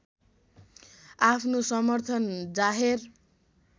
आफ्नो समर्थन जाहेर